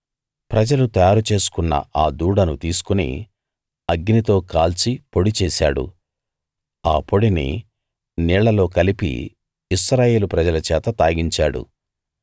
ప్రజలు తయారు చేసుకున్న ఆ దూడను తీసుకుని అగ్నితో కాల్చి పొడి చేశాడు ఆ పొడిని నీళ్లలో కలిపి ఇశ్రాయేలు ప్రజల చేత తాగించాడు